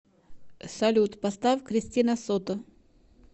салют поставь кристина сото